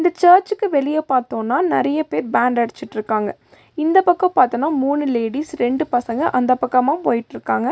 இந்த சர்ச்சுக்கு வெளிய பாத்தோனா நெறைய பேர் பேண்ட் அடிச்சுட்ருக்காங்க இந்த பக்கோ பாத்தோனா மூணு லேடிஸ் ரெண்டு பசங்க அந்தப் பக்கமா போய்ட்ருக்காங்க.